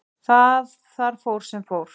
Þar fór sem fór.